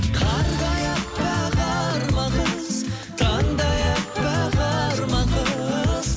қардай әппақ арман қыз таңдай әппақ арман қыз